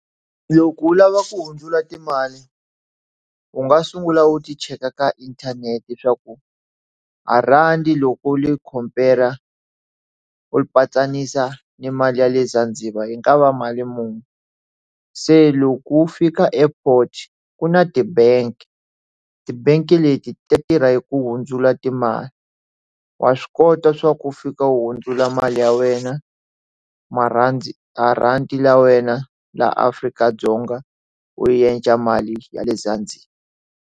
Loko u lava ku hundzula timali u nga sungula u ti cheka ka inthanete swa ku a rhandi loko ni yi khompera u ni mali ya le Zanzibar hi nga va mali munhu se loko u fika airport ku na tibanki tibanki leti ta tirha yi ku hundzula timali wa swi kota swa ku u fika u hundzula mali ya wena marhandzu marhandi ya wena laha Afrika-Dzonga u endla mali ya le ezanzibar.